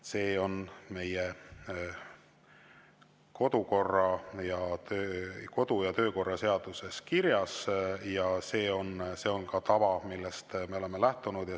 See on meie kodu- ja töökorra seaduses kirjas ja see on ka tava, millest me oleme lähtunud.